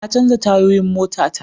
Na canja tayoyin mota ta